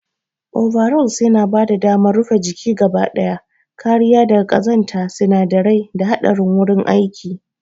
Overalls yana bada damar rufe jiki gaba daya, kariya daga ƙazanta, sinadarai, da haɗarin wurin aiki.